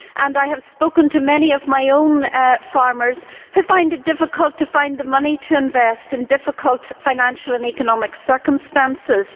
I have spoken to many of my own farmers who find it difficult to find the money to invest in difficult financial and economic circumstances.